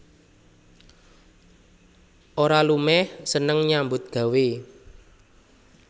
Ora lumeh seneng nyambut gawé